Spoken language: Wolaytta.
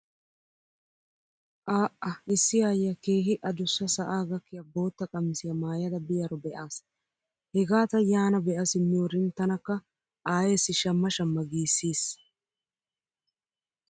A"a issi aayyiya keehi adussa sa'aa gakkiya bootta qamisiya maayada biyaro be'aas. Hega ta yaana be'a simmiyorin tanakka aayeessi shamma shamma giissiis.